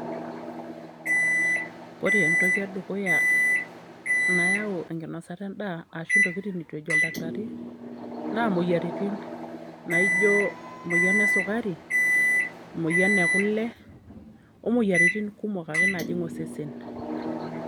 ore entoki edukuya, nayau enkinosata endaa ashu, intokitin netu ejo oldakitari na moyiaritin naijio emoyian esukukari, emoyian ekule, omoyiaritin ake kumok najing osesen.